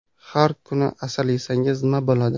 Har kuni asal yesangiz, nima bo‘ladi?.